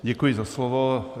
Děkuji za slovo.